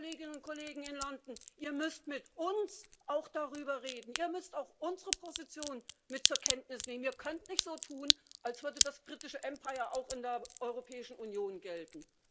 Nein, liebe Kolleginnen und Kollegen in London, ihr müsst mit uns auch darüber reden, ihr müsst auch unsere Position mit zur Kenntnis nehmen, ihr könnt nicht so tun, als würde das britische Empire auch in der Europäischen Union gelten.